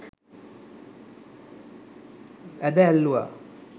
ඇද ඇල්ලුවා.